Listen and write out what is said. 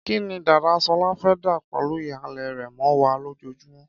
Kí ni dàda Ṣọlá fẹ́ dà pẹ̀lú ìhàlẹ̀ rẹ̀ mọ́ wa lójoojúmọ́?